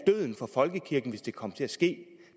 er døden for folkekirken hvis det kommer til at ske